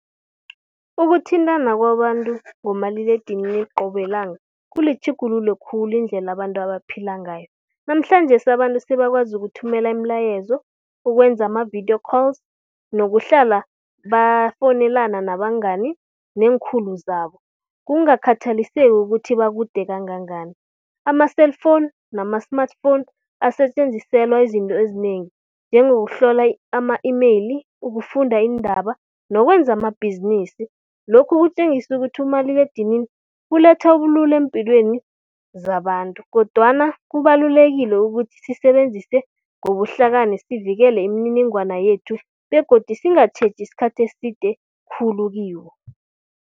Ukuthintana kwabantu ngomaliledinini qobe lilanga kulitjhugululo khulu indlela abantu abaphila ngayo. Namhlanjesi abantu sebakwazi ukuthumela imilayezo, ukwenza amavidiyo calls nokuhlala bafowunelana nabangani neekhulu zabo, kungakhathaliseki ukuthi bakude kangangani. Ama-cellphone nama smartphone asetjenziselwa izinto ezinengi, njengokuhlola ama-email, ukufunda iindaba nokwenza amabhizinisi. Lokhu kutjengisa ukuthi umaliledinini uletha ubulula eempilweni zabantu, kodwana kubalulekile ukuthi sisebenzise ngobuhlakani sivikele imininingwana yethu begodu singatjheji isikhathi eside khulu kiwo.